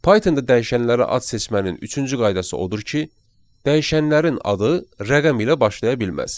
Pythonda dəyişənlərə ad seçmənin üçüncü qaydası odur ki, dəyişənlərin adı rəqəm ilə başlaya bilməz.